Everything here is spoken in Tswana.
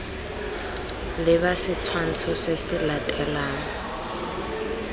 leba setshwantsho se se latelang